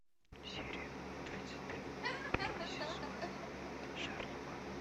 серия тридцать три первый сезон шерлок